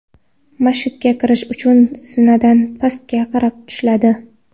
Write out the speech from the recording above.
Masjidga kirish uchun zinadan pastga qarab tushiladi.